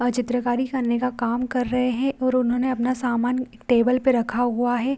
और चित्रकारी करने का काम कर रहे हैं और उन्होंने अपना सामान टेबल पे रखा हुआ है।